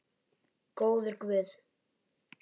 Góður guð.